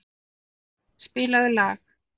Finngeir, spilaðu lag.